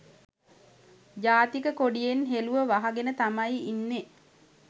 ජාතික කොඩියෙන් හෙළුව වහගෙන තමයි ඉන්නෙ.